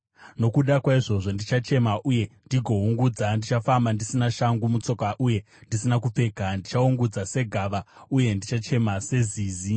Nokuda kwaizvozvo ndichachema uye ndigoungudza; ndichafamba ndisina shangu mutsoka uye ndisina kupfeka. Ndichaungudza segava uye ndichachema sezizi.